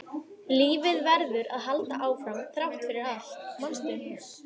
Lífið verður að halda áfram þrátt fyrir allt, manstu?